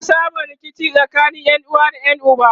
ana samun rikici tsakanin ƴanuwa da ƴan uba